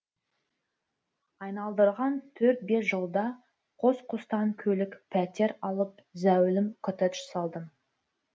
айналдырған төрт бес жылда қос қостан көлік пәтер алып зәулім коттедж салдым